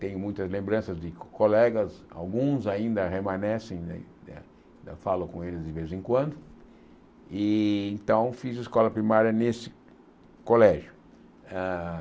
tenho muitas lembranças de colegas, alguns ainda remanescem né né, eu falo com eles de vez em quando, e então fiz a escola primária nesse colégio. Hã